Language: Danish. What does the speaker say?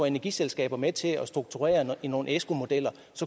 energiselskaber med til at strukturere nogle esco modeller